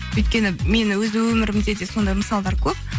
өйткені мен өз өмірімде де сондай мысалдар көп